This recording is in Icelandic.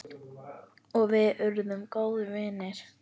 Og við urðum góðir vinir.